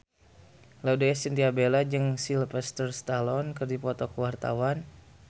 Laudya Chintya Bella jeung Sylvester Stallone keur dipoto ku wartawan